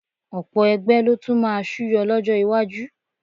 Ọ̀pọ̀ ẹgbẹ́ ló tún máa súyọ lọ́jọ́ iwájú